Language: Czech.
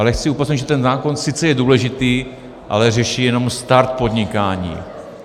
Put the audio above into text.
Ale chci upozornit, že ten zákon sice je důležitý, ale řeší jenom start podnikání.